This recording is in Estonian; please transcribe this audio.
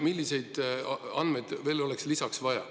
Milliseid andmeid veel vaja oleks?